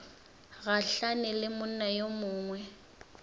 gahlane le monna yo mongwe